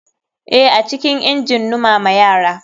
Eh, acikin injin numama yara.